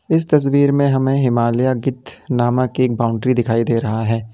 इस तस्वीर में हमें हिमालया गिद्ध नामक एक बाउंड्री दिखाई दे रहा है।